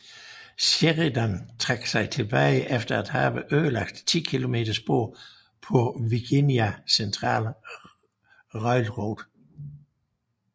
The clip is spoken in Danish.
Sheridan trak sig tilbage efter at have ødelagt 10 km spor på Virginia Central Railroad